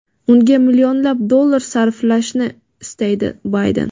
unga millionlab dollar sarflashini istaydi - Bayden.